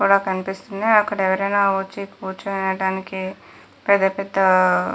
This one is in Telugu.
గోడ కనిపిస్తుంది అక్కడ ఎవరైనా వచ్చి కూర్చోని వెళడానికి పెద్ద పెద్ద --